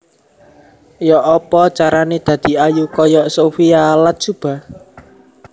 Yok opo carane dadi ayu koyok Sophia Latjuba?